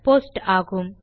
post ஆகும்